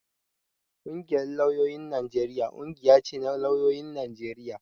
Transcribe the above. Ƙungiyar lauyoyin Najeriya ƙungiya ce na lauyoyin Najeriya